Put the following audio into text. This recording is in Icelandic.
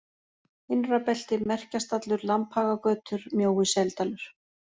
Innrabelti, Merkjastallur, Lambhagagötur, Mjói-Seldalur